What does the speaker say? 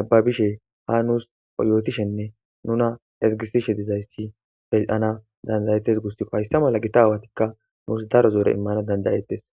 nababishe ha nuus yootishenne nuna ezgisishe dizayssi beana dandayettes gustikko hayssa mala gita aawatikka nuus daro zoore immana dandayettes